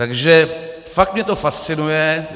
Takže fakt mě to fascinuje.